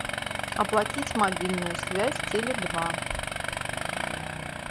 оплатить мобильную связь теле два